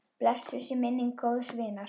Blessuð sé minning góðs vinar.